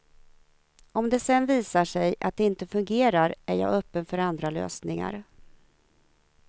Om det sedan visar sig att det inte fungerar är jag öppen för andra lösningar.